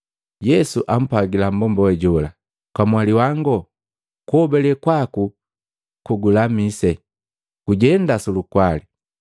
Yesu ampwagila mmbomba jola, “Kamwali wango, kuhobale kwaku kugulamise. Gujenda sulukwali.”